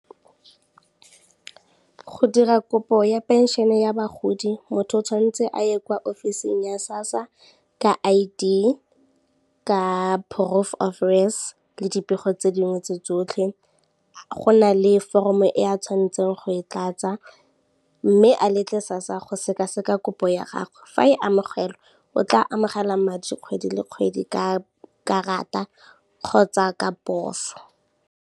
Go dira kopo ya pension-e ya bagodi motho o tshwanetse a ye kwa office-ing ya SASSA ka I_D, ka proof of res le dipego tse dingwe tse tsotlhe, go na le foromo e a tshwanetseng go e tlatsa mme a letle SASSA go sekaseka kopo ya gagwe, fa e amogelwa o tla amogela madi kgwedi le kgwedi ka karata kgotsa ka poso.